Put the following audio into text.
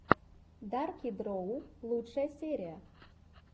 дарки дроу лучшая серия